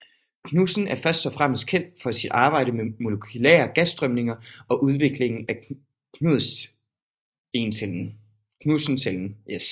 Knudsen er først og fremmest kendt for sit arbejde med molekylære gasstrømninger og udviklingen af Knudsencellen